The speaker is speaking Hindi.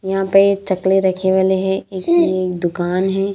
यहाँ पे चकले रखे वाले हैं एक ये दुकान है।